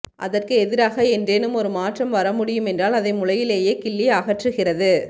அதற்கு எதிராக என்றேனும் ஒரு மாற்றம் வரமுடியுமென்றால் அதை முளையிலேயே கிள்ளி அகற்றுகிறது